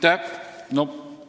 Aitäh!